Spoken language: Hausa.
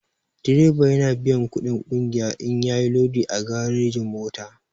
Direba yana biyan kuɗin ƙungiya in yayi lodi a garejin-mota.